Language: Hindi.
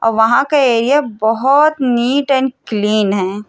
अ वहाँ का एरिया बहोत नीट एंड क्लीन है।